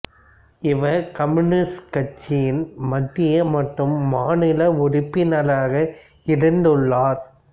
இவர் கம்யூனிஸ்ட் கட்சியின் மத்திய மற்றும் மாநில உறுப்பினராக இருந்துள்ளார்